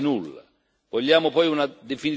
Pochissimo, quasi nulla.